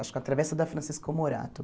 Acho que a travessa da Francisco Morato.